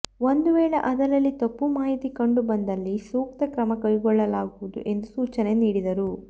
ಒಂದು ವೇಳೆ ಅದರಲ್ಲಿ ತಪ್ಪು ಮಾಹಿತಿ ಕಂಡುಬಂದಲ್ಲಿ ಸೂಕ್ತ ಕ್ರಮ ಕೈಗೊಳ್ಳಲಾಗುವುದು ಎಂದು ಸೂಚನೆ ನೀಡಿದರು